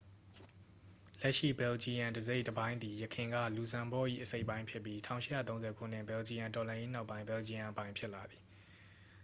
လက်ရှိဘယ်လ်ဂျီယမ်တစ်စိတ်တစ်ပိုင်းသည် ယခင်က လူဇမ်ဘော့၏ အစိတ်အပိုင်းဖြစ်ပြီး 1830 ခုနှစ် ဘယ်လ်ဂျီယမ်တော်လှန်ရေးနောက်ပိုင်း ဘယ်လ်ဂျီယမ်အပိုင်ဖြစ်လာသည်